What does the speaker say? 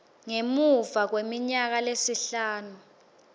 ngemuva kweminyaka lesihlanu